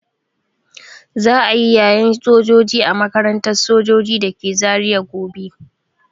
Za'a yi yayen sojoji a makarantar sojoji dake Zaria gobe.